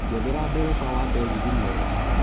njethera ndereva wa tegithi mwega